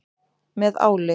Með áli.